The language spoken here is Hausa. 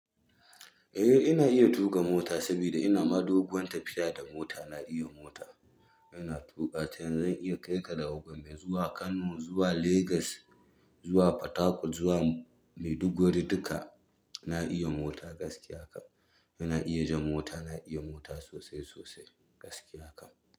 Eh ina iya tuƙa mota sabida ina ma doguwan tafiya da mota. Na iya mota, ina tuƙa ta zan iya kaika daga Gombe zuwa Kano, zuwa Legas, zuwa Port Harcourt, zuwa Maiduguri duka. Na iya mota gaskiya kam. Ina iya jan mota, na iya mota sosai sosai gaskiya kam.